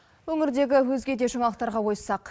өңірдегі өзге де жаңалықтарға ойыссақ